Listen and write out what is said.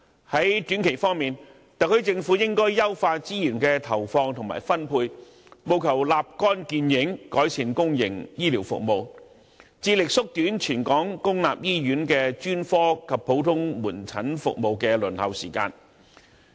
在短期方面，特區政府應該優化資源的投放及分配，務求立竿見影，改善公營醫療服務，致力縮短全港公立醫院的專科及普通科門診服務的輪候時間。